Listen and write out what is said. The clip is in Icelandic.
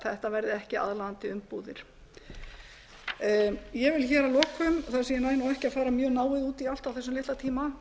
þetta verði ekki aðlaðandi umbúðir ég vil hér að lokum þar sem ég næ nú ekki að fara mjög náið út í allt á þessum litla tíma